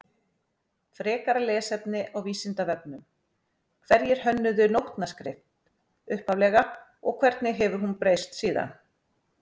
Frekara lesefni á Vísindavefnum Hverjir hönnuðu nótnaskrift upphaflega og hvernig hefur hún breyst síðan?